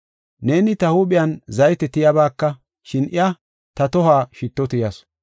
Neeni ta huuphiyan zayte tiyabaka, shin iya ta tohuwa shitto tiyawusu.